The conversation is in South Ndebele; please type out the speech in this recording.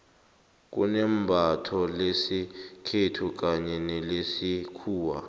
kunembatho lesikhethu kanye nelesikhuwa